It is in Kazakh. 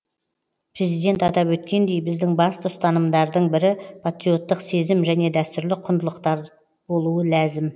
президент атап өткендей біздің басты ұстанымдардың бірі патриоттық сезім және дәстүрлі құндылықтар болуы ләзім